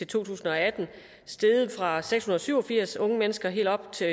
tusind og atten steget fra seks hundrede og syv og firs unge mennesker og helt op til